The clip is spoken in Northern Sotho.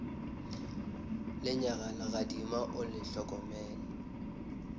lenyaga legadima o le hlokomele